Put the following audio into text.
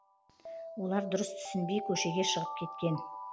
олар дұрыс түсінбей көшеге шығып кеткен